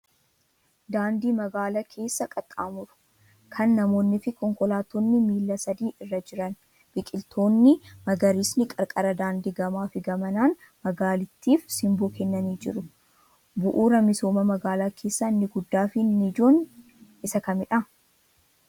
Daandii magaala keessa qaxxaamuru, kan namoonniifi konkolaattonni miilla sadii irra jiran. Biqiloonni magariisni qarqara daandii gamaa fi gamanaan magaalattiif simboo kennanii jiru. Bu'uuraa misooma magaalaa keessaa inni guddaa fi inni ijoon Isa kamidha?